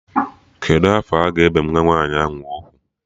Kedụ afọ a ga-ebe nwa nwaanyị ahụ ugwu?